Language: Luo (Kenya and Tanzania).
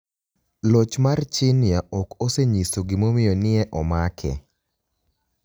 Loch mar Chinia ok oseniyiso gimomiyo ni e omake.